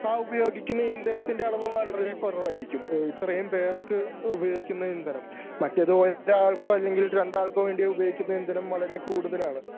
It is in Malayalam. ആ ഉപയോഗിക്കുന്ന ഇന്ധനത്തിൻ്റെ അളവ് വളരെ കുറവായിരിക്കും ഏഹ് ഇത്രയും പേർക്ക് ഉപയോഗിക്കുന്ന ഇന്ധനം മറ്റത് ഒരാൾക്കോ അല്ലെങ്കിൽ രണ്ടാൾക്കോ വേണ്ടി ഉപയോഗിക്കുന്ന ഇന്ധനം വളരെ കൂടുതലാണ്.